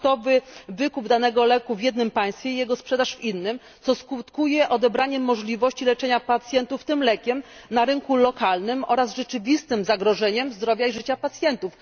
hurtowy wykup danego leku w jednym państwie i jego sprzedaż w innym, co skutkuje odebraniem możliwości leczenia pacjentów tym lekiem na rynku lokalnym oraz rzeczywistym zagrożeniem zdrowia i życia pacjentów.